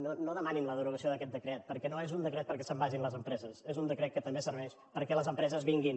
home no demanin la derogació d’aquest decret perquè no és un decret perquè se’n vagin les empreses és un decret que també serveix perquè les empreses vinguin